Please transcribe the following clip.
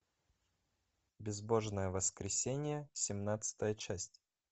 безбожное воскресенье семнадцатая часть